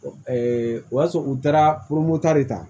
o y'a sɔrɔ u taara ta de ta